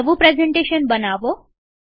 નવું પ્રેઝન્ટેશન બનાવો